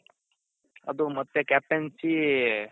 ಅದು ಮತ್ತೆ captaincy